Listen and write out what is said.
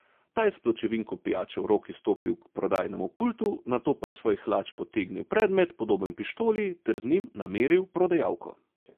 Ta je s pločevinko pijače v roki stopil k prodajnemu pultu, nato pa je iz svojih hlač potegnil predmet, podoben pištoli, ter z njim nameril v prodajalko.